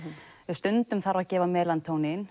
stundum þarf að gefa